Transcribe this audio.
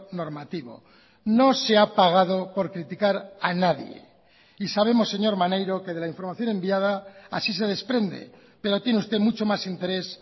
normativo no se ha pagado por criticar a nadie y sabemos señor maneiro que de la información enviada así se desprende pero tiene usted mucho más interés